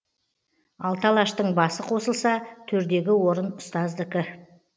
алты алаштың басы қосылса төрдегі орын ұстаздікі